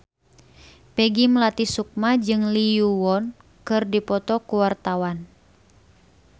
Peggy Melati Sukma jeung Lee Yo Won keur dipoto ku wartawan